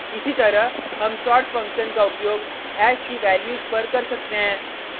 इसी तरह हम sort फंक्शन का उपयोग हैश की वैल्यूज़ पर कर सकते हैं